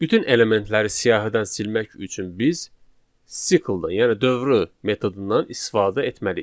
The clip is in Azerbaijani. Bütün elementləri siyahıdan silmək üçün biz sikldan, yəni dövrü metodundan istifadə etməliyik.